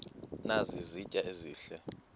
nazi izitya ezihle